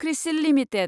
CRISIL limited